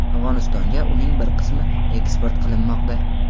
Afg‘onistonga uning bir qismi eksport qilinmoqda.